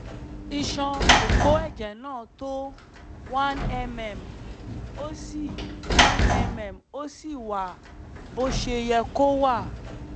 iṣan òpó ẹ̀jẹ̀ náà tó cs] one mm ó sì one mm ó sì wà bó ṣe yẹ kó wà